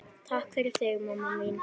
Takk fyrir þig, mamma mín.